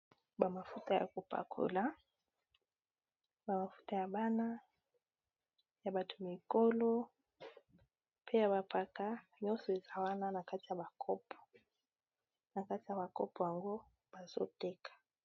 Bamafuta ya kopakola bamafuta ya bana ya bato mikolo pe ya bapaka nyonso eza wana na kati ya bakopo yango bazotekag.